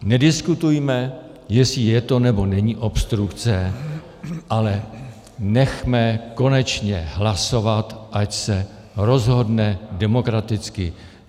Nediskutujme, jestli je to, nebo není obstrukce, ale nechme konečně hlasovat, ať se rozhodne demokraticky.